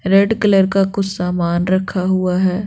Red colour का कुछ सामान रखा हुआ है।